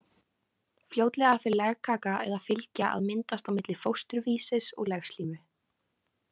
Fljótlega fer legkaka eða fylgja að myndast á milli fósturvísis og legslímu.